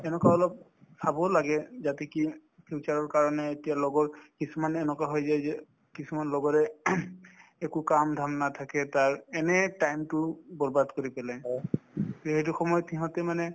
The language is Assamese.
তেনেকুৱা অলপ চাবও লাগে যাতে কি future ৰ কাৰণে এতিয়া লগৰ কিছুমান এনেকুৱা হৈ যায় যে কিছুমান লগৰে একো কাম-ধাম নাথাকে তাৰ এনেই time তো বৰ্বাদ কৰি পেলাই তে সেইটো সময়ত সিহঁতে মানে